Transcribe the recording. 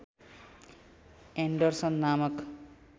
Anderson नामक